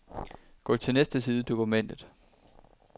Gå til næste side i dokumentet.